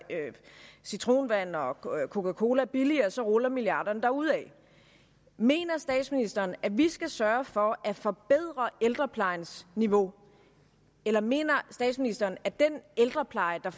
citronvand og coca coca cola billigere så ruller milliarderne derudad mener statsministeren at vi skal sørge for at forbedre ældreplejens niveau eller mener statsministeren at den ældrepleje der